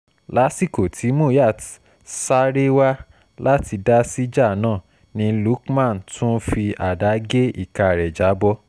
lásìkò tí muyat sáré wá láti dá síjà náà ni lukman tún fi àdá gé ìka rẹ̀ já bọ́